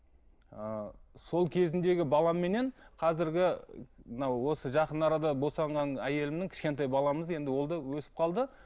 ы сол кезіндегі баламеннен қазіргі мынау осы жақын арада босанған әйелімнің кішкентай баламыз енді ол да өсіп қалды